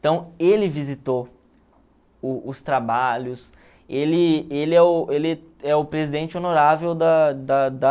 Então, ele visitou o os trabalhos, ele ele é o ele é o presidente honorável da da da